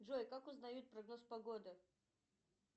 джой как узнают прогноз погоды